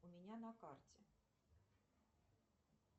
у меня на карте